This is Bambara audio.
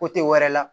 wɛrɛ la